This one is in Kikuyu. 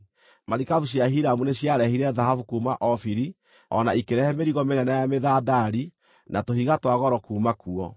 (Marikabu cia Hiramu nĩ ciarehire thahabu kuuma Ofiri, o na ikĩrehe mĩrigo mĩnene ya mĩthandari na tũhiga twa goro kuuma kuo.